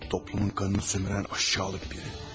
Toplumun kanını sömürən aşağılık biri.